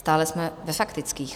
Stále jsme ve faktických.